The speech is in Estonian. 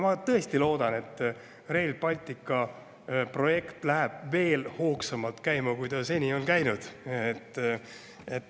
Ma tõesti loodan, et Rail Balticu projekt läheb veel hoogsamalt käima, kui ta seni on käinud.